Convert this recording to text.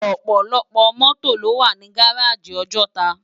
Òpòlòpò mòtó ló wá ni gáráji Òjòtá